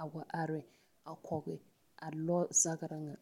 a wa are a kɔge a lɔɔzagra ŋa.